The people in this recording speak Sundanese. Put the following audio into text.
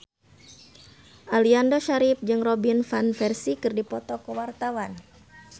Aliando Syarif jeung Robin Van Persie keur dipoto ku wartawan